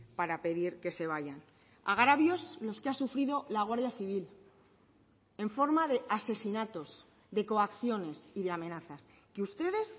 para pedir que se vayan agravios los que ha sufrido la guardia civil en forma de asesinatos de coacciones y de amenazas que ustedes